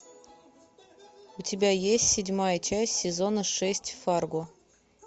у тебя есть седьмая часть сезона шесть фарго